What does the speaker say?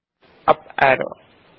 up arrow key ಒತ್ತಿ